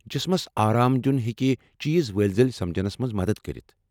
جسمس آرام دِیٚن ہیٚکہ چیز ؤلۍ ؤلۍ سمجنس منٛز مدتھ کٔرتھ۔